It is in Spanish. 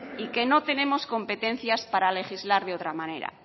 y que no tenemos competencias para legislar de otra manera